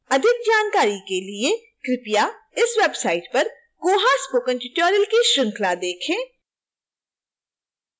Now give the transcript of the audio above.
अधिक जानकारी के लिए कृपया इस website पर koha spoken tutorial की श्रृंखला देखें